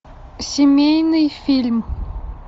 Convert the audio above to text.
семейный фильм